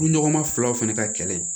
Furuɲɔgɔnma filaw fana ka kɛlɛ